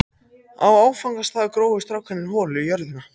Á áfangastað grófu strákarnir holu í jörðina.